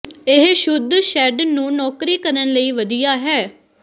ਇਹ ਸ਼ੁੱਧ ਸ਼ੇਡ ਨੂੰ ਨੌਕਰੀ ਕਰਨ ਲਈ ਵਧੀਆ ਹੈ